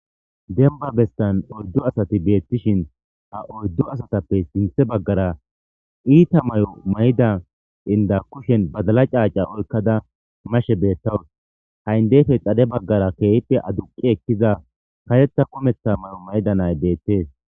Denba bestan oyddo asati beettishin ha oyddo asatappe sinthe baggara iita may7o mayda inda kushen bazala caaca olkkada mashe beettawus ha7indefe xade baggara keehippe aduqi ekkiza katetha kumetha may7o mayda nay beettees.